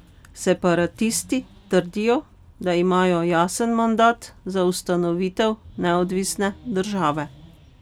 Separatisti trdijo, da imajo jasen mandat za ustanovitev neodvisne države.